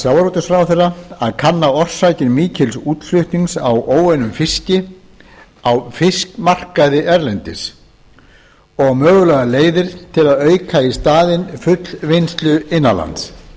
sjávarútvegsráðherra að kanna orsakir mikils útflutnings á óunnum fiski á fiskmarkaði erlendis og mögulegar leiðir til að auka í staðinn fullvinnslu innan lands